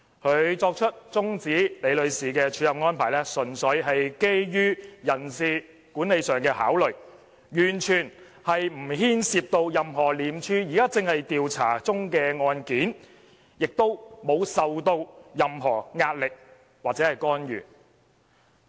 他作出終止李女士署任的安排，純粹基於人事管理上的考慮，完全不牽涉到任何廉署現正調查中的案件，亦沒有受到任何壓力或干預。